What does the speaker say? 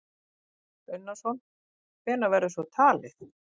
Kristján Már Unnarsson: Hvenær verður svo talið?